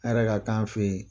Hɛrɛ ka kɛ an fɛ yen